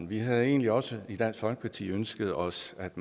vi havde egentlig også i dansk folkeparti ønsket os at